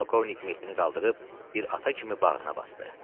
Polkovnik Mehdini qaldırıb bir ata kimi bağrına basdı.